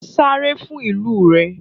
Sáré fún ìlú rẹ!